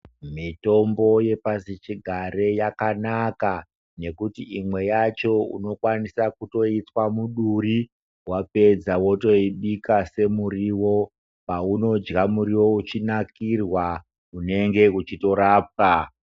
Mitombo yepasi chigare yakanaka nekuti imwe yacho unokwanisa kutoitswa muduri wapedza wotoibika semuriwo paunodya muriwo uchinakirwa unenge uchitorapwa.